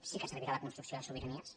sí que servirà la construcció de sobiranies